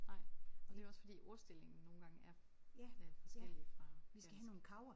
Nej og det er jo også fordi ordstillingen nogle gange er øh forskellig fra dansk